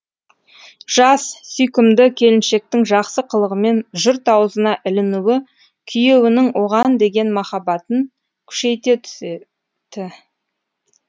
жас сүйкімді келіншектің жақсы қылығымен жұрт аузына ілінуі күйеуінің оған деген махаббатын күшейте түседі